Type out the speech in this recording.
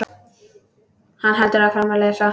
Hann heldur áfram að lesa: